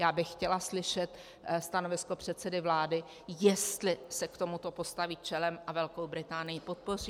Já bych chtěla slyšet stanovisko předsedy vlády, jestli se k tomuto postaví čelem a Velkou Británii podpoří.